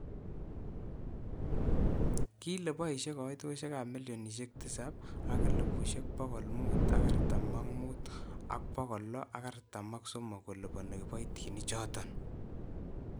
Kile boishe kaitoshek ab milionishek tisab akelibusheek bokol mit ak artam ak mut ak bokol lo ak artam.ak somok. koliponi kiboitinik chotok.